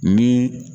Ni